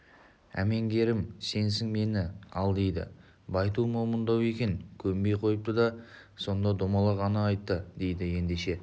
әмеңгерім сенсің мені ал дейді байту момындау екен көнбей қойыпты сонда домалақ ана айтты дейді ендеше